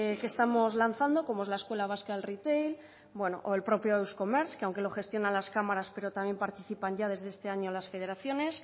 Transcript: que estamos lanzando como es la escuela vasca del retail o el propio euskomer que aunque lo gestiona las cámaras pero también participan ya desde este año las federaciones